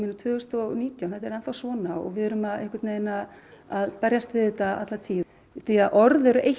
tvö þúsund og nítján og þetta er enn þá svona og við erum að að berjast við þetta alla tíð orð eru eitt